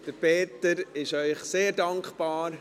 Peter Sommer ist Ihnen sehr dankbar.